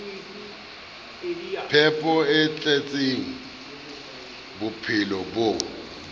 phepo e tletseng bophelo bo